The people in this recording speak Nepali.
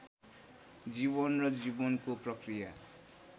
जीवन र जीवनको प्रक्रिया